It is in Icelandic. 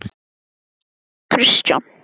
Af hverju horfði hún svona á hann?